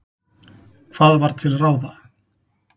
Hvað var til ráða?